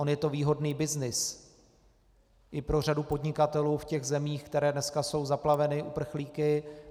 On je to výhodný byznys i pro řadu podnikatelů v těch zemích, které dneska jsou zaplaveny uprchlíky.